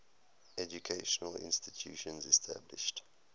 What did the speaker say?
educational institutions established